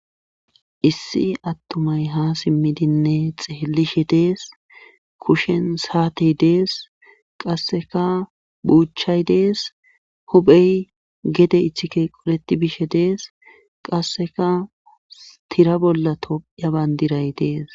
issi attumay ha simmidinne xeelishe dees kushen saatey dees qasseka buuchay dees huphey gede ichike qoleti bishe dees qasseka tira bolla tophya bandiray dees